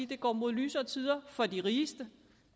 det går mod lysere tider for de rigeste